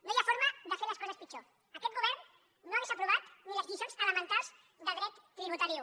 no hi ha forma de fer les coses pitjor aquest govern no hauria aprovat ni les lliçons elementals de dret tributari un